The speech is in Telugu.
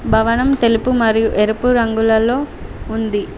భవనం తెలుపు మరియు ఎరుపు రంగులలో ఉంది.